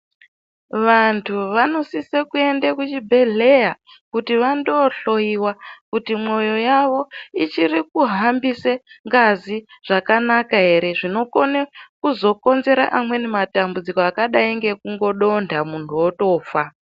Vanthu vanosise kuende kuchibhedhleya kuti vandohloyiwa kuti mwoyo yao ichiri kuhambise ngazi zvakanaka ere zvinokona kuzokonzera amweni matambudziko akadai ngekudonda munthu otofa.